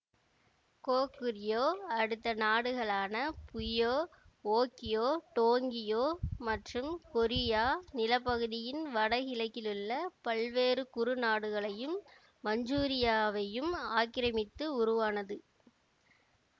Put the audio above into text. Goguryeo அடுத்த நாடுகளான Buyeo Okjeo Dongye மற்றும் கொரியா நில பகுதியின் வடக்கிலுள்ள பல்வேறு குறுநாடுகளையும் மஞ்சூரியாவையும் ஆக்கிரமித்து உருவானது